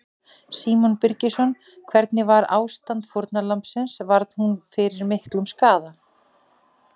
Símon Birgisson: Hvernig var ástand fórnarlambsins, varð, varð hún fyrir miklum skaða?